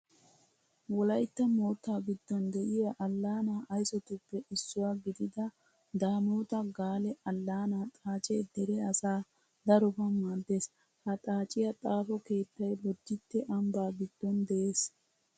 Wolaytta moottaa giddon de'iya allaanaa aysotuppe issuwa gidida daamoota gaale allaanaa xaacee dere asaa daroban maaddees. Ha xaaciya xaafo keettay bodditte ambbaa giddon de'ees.